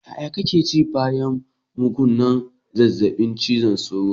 Ƴaƴa kake ji bayan magungunan zazzabin cizon sauro.